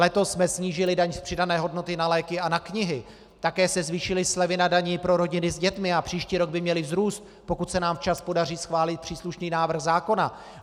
Letos jsme snížili daň z přidané hodnoty na léky a na knihy, také se zvýšily slevy na dani pro rodiny s dětmi a příští rok by měly vzrůst, pokud se nám včas podaří schválit příslušný návrh zákona.